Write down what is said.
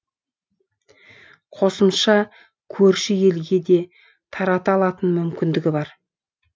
қосымша көрші елге де тарата алатын мүмкіндігі бар